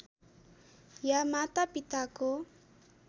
या माता पिताको